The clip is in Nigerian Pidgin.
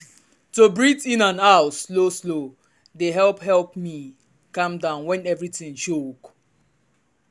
to breathe in and out slow-slow dey help help me calm down when everything choke.